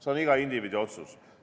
See on iga indiviidi otsus.